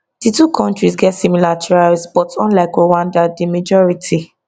di two kontris get similar tribes but unlike rwanda di majority